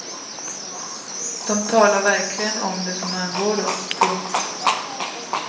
De talar verkligen om det som angår dem. punkt